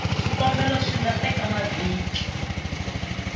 swikombelo swi nga teka mavhiki